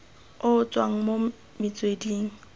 o o tswang mo metsweding